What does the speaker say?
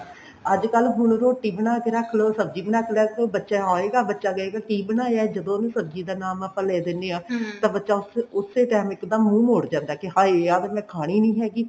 ਅੱਜਕਲ ਹੁਣ ਰੋਟੀ ਬਣਾ ਕੇ ਰੱਖ ਲੋ ਸਬਜੀ ਬਣਾ ਕੇ ਰੱਖ ਲੋ ਬੱਚਾ ਆਏਗਾ ਬੱਚਾ ਕਹੇਗਾ ਕੀ ਬਣਾਇਆ ਜਦੋਂ ਉਹਨੂੰ ਸਬਜੀ ਦਾ ਨਾਮ ਆਪਾਂ ਲੈ ਦਿਨੇ ਆ ਤਾਂ ਬੱਚਾ ਉਸੇ ਵੇਲੇ ਇੱਕਦਮ ਮੂੰਹ ਮੋੜ ਜਾਂਦਾ ਕਿ ਹਾਏ ਆਹ ਤਾਂ ਮੈਂ ਖਾਣੀ ਨੀ ਹੈਗੀ